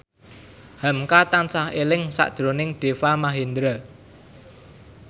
hamka tansah eling sakjroning Deva Mahendra